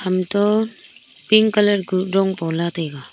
ham toh pink colour kuh dong pola taga.